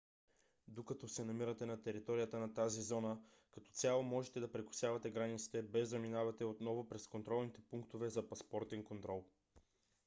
докато се намирате на територията на тази зона като цяло можете да прекосявате границите без да минавате отново през контролните пунктове за паспортен контрол